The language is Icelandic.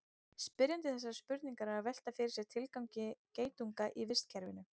spyrjandi þessarar spurningar er að velta fyrir sér tilgangi geitunga í vistkerfinu